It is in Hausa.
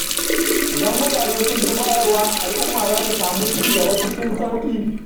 Idan mutane sun fi bayarwa, al’umma za ta samu ci gaba cikin sauƙi.